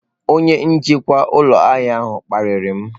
Onye njikwa ụlọ ahịa ahụ kparịrị m.